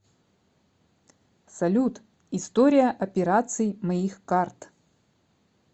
салют история операций моих карт